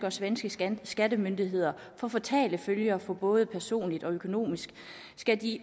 og svenske skattemyndigheder får fatale følger for dem både personligt og økonomisk skal de